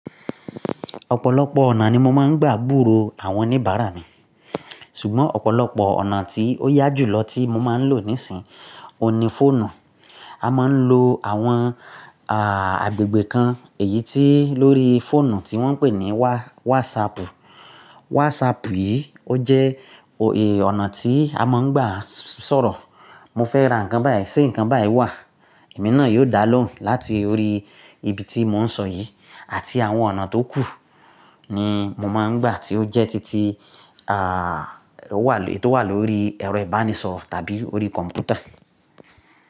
Ọ̀pọ̀lọpọ̀ ọ̀nà ni mo máa ń gbà búró àwọn oníbàárà mi, ṣùgbọ́n ọ̀pọ̀lọpọ̀ ọ̀nà tí ó yá jù lọ tí mo máa ń lò nísìnyí, òní fóònù. A máa ń lo àwọn, agbègbè kan èyí tí lórí fóònù tí wọ́n ń pè ní wá-WhatsApp. WhatsApp yìí ó jẹ́, òhì, ọ̀nà tí a máa ń gbà sọ̀rọ̀. Mo fẹ́ ra nǹkan báyìí ṣé nǹkan báyìí wà? Ẹ̀mí náà yóò dá lóhùn láti orí ibi tí mò ń sọ yìí. Àti àwọn ọ̀nà tó kù ni mo máa ń gbà tí ó jẹ́ títí, a tó wà lórí ẹ̀rọ ìbánisọ̀rọ̀ tàbí orí kọ̀m̀pútà.